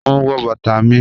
Mò n wọ̀ bàtà mi.